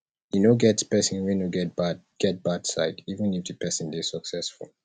e no get person wey no get bad get bad side even if di person dey successful